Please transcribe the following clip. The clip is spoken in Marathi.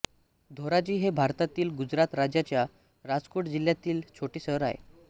धोराजी हे भारतातील गुजरात राज्याच्या राजकोट जिल्ह्यातील छोटे शहर आहे